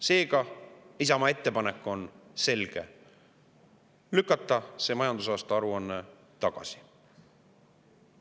Seega, Isamaa ettepanek on selge: lükata see majandusaasta aruanne tagasi.